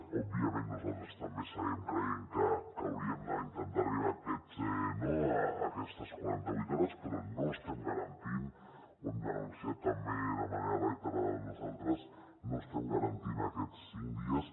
òbviament nosaltres també seguim creient que hauríem d’intentar arribar a aquestes quaranta vuit hores però no estem garantint ho hem denunciat també de manera reiterada nosaltres aquests cinc dies